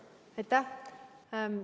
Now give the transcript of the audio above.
Aitäh!